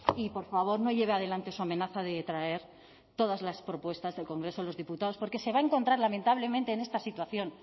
y por favor no lleve adelante su amenaza de traer todas las propuestas del congreso de los diputados porque se va a encontrar lamentablemente en esta situación